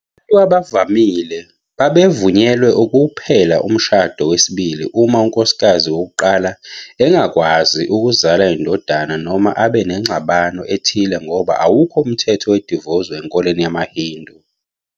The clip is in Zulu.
Abantu abavamile babevunyelwe kuphela umshado wesibili uma unkosikazi wokuqala engakwazi ukuzala indodana noma abe nengxabano ethile ngoba awukho umthetho wedivosi enkolweni yamaHindu.